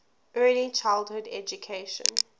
early childhood education